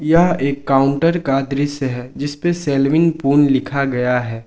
यह एक काउंटर का दृश्य है जिस पे सेलविन पून लिखा गया है।